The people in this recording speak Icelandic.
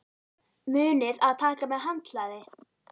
Munið að taka með handklæði!